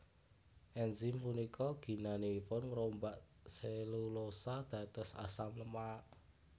Enzim punika ginanipun ngrombak selulosa dados asam lemak